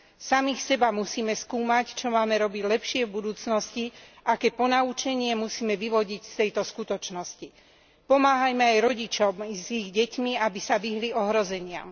Samých seba musíme skúmať, čo máme robiť lepšie v budúcnosti, aké ponaučenie musíme vyvodiť z tejto skutočnosti. Pomáhajme aj rodičom s ich deťmi, aby sa vyhli ohrozeniam.